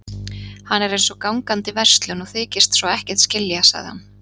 Hann er eins og gangandi verslun og þykist svo ekkert skilja sagði hann.